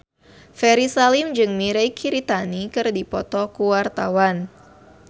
Ferry Salim jeung Mirei Kiritani keur dipoto ku wartawan